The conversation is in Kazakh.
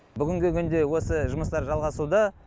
бүгінгі күнде осы жұмыстар жалғасуда